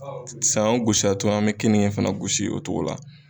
Sanyɔn gosi a tɔ an bɛ keninke fana gosi o togo la.